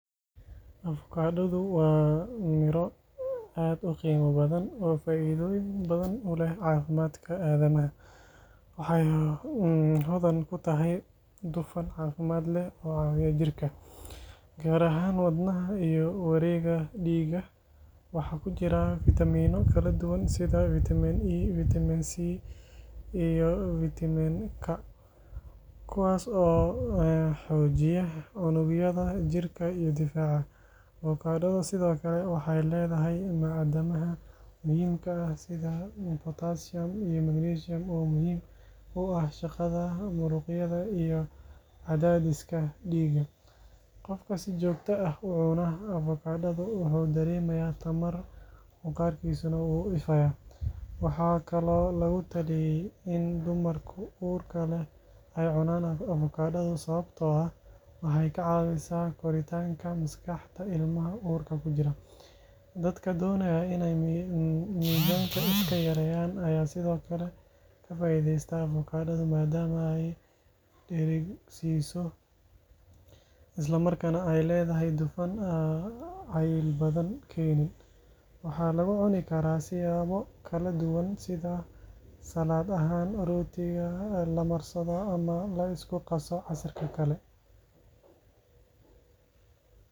xoojiya unugyada jirka iyo difaaca. Avokaatadu sidoo kale waxay leedahay macdanaha muhiimka ah sida potassium iyo magnesium oo muhiim u ah shaqada muruqyada iyo cadaadiska dhiigga. Qofka si joogto ah u cuna avokaatada wuxuu dareemayaa tamar, maqaarkiisuna wuu ifayaa. Waxaa kaloo lagu taliyay in dumarka uurka leh ay cunaan avokaato sababtoo ah waxay ka caawisaa koritaanka maskaxda ilmaha uurka ku jira. Dadka doonaya in ay miisaanka iska yareeyaan ayaa sidoo kale ka faa’iidaysta avokaatada maadaama ay dheregsiiso, isla markaana ay leedahay dufan aan cayil badan keenin. Waxaa lagu cuni karaa siyaabo kala duwan sida salad ahaan, rootiga la marsado, ama la isku qaso casiirka kale.